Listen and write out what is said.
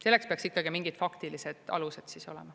Selleks peaks ikkagi mingid faktilised alused olema.